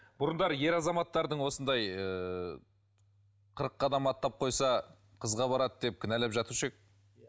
бұрындары ер азаматтардың осындай ыыы қырық қадам аттап қойса қызға барады деп кінәлап жатушы едік